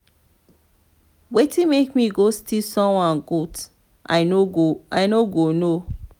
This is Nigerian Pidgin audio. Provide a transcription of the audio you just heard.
wetin make me go steal someone goat i no go no.